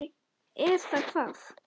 Er það hvað.?